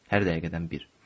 Hər dəqiqədən bir.